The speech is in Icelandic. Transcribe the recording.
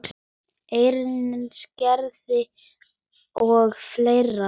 Hreinsa garðinn og fleira.